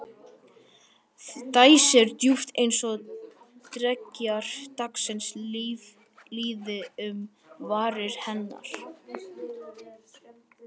Dæsir djúpt- eins og dreggjar dagsins líði um varir hennar.